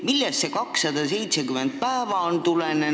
Millest see 270 päeva tuleneb?